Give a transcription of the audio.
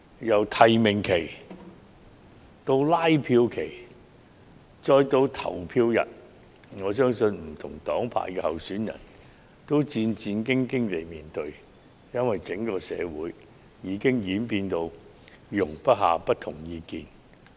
由提名期到拉票期，再到投票日，我相信不同黨派的候選人均是戰戰兢兢地面對，因為整個社會已變得容不下不同意見。